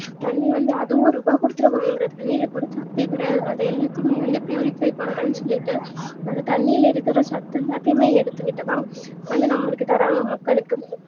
தண்ணீ வந்து அதுவா ரூபா குடுத்து வாங்கறோம் அதுல சத்தே கிடையாது அதுல எல்லாத்தயுமே purifier பண்றனு சொல்லிட்டு அந்த தன்நீல இருக்க சத்தெல்லாத்தையுமே எடுத்துகிட்டுதா வந்து நமக்கு தராங்க மக்களுக்கு